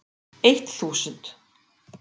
Eitt þúsund